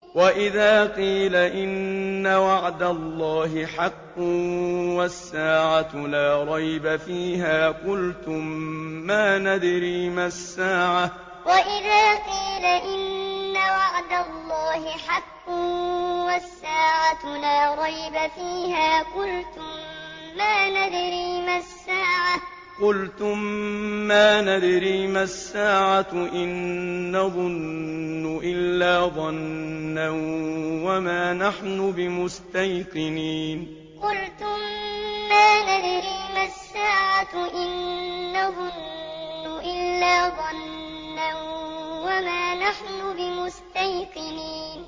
وَإِذَا قِيلَ إِنَّ وَعْدَ اللَّهِ حَقٌّ وَالسَّاعَةُ لَا رَيْبَ فِيهَا قُلْتُم مَّا نَدْرِي مَا السَّاعَةُ إِن نَّظُنُّ إِلَّا ظَنًّا وَمَا نَحْنُ بِمُسْتَيْقِنِينَ وَإِذَا قِيلَ إِنَّ وَعْدَ اللَّهِ حَقٌّ وَالسَّاعَةُ لَا رَيْبَ فِيهَا قُلْتُم مَّا نَدْرِي مَا السَّاعَةُ إِن نَّظُنُّ إِلَّا ظَنًّا وَمَا نَحْنُ بِمُسْتَيْقِنِينَ